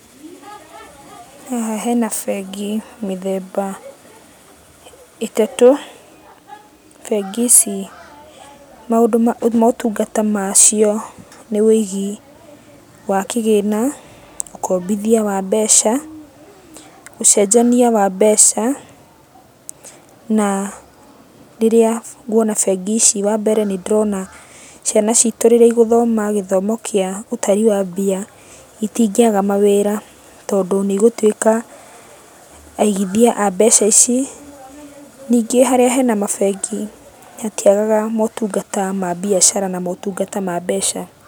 Haha hena bengi mĩthemba ĩtatũ. Bengi ici maundũ motungata macio nĩ wĩigi wa kĩgĩna, ũkombithia wa mbeca, ũcenjania wa mbeca. Na rĩrĩa nguona bengi ici wambere nĩndĩrona ciana citũ rĩrĩa igũthoma gĩthomo kĩa ũtari wa mbia, itingĩaga mawĩra, tondũ nĩ igũtuĩka aigithia a mbeca ici. Ningĩ harĩa hena mabengi, hatiagaga motungata ma mbiacara na motungata ma mbeca.